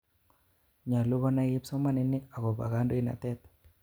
Nyalu konai kipsomaninik akopo kandoinatet.